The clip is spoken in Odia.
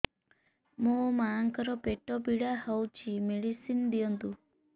ମୋ ମାଆଙ୍କର ପେଟ ପୀଡା ହଉଛି ମେଡିସିନ ଦିଅନ୍ତୁ